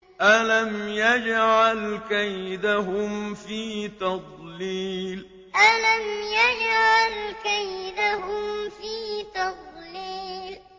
أَلَمْ يَجْعَلْ كَيْدَهُمْ فِي تَضْلِيلٍ أَلَمْ يَجْعَلْ كَيْدَهُمْ فِي تَضْلِيلٍ